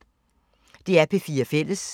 DR P4 Fælles